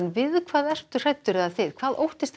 við hvað ertu hræddur hvað óttast